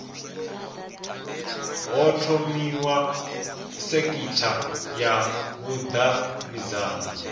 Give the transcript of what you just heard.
ho thomiwa sekitha ya vhudavhidzano